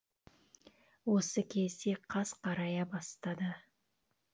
осы кезде қас қарая бастады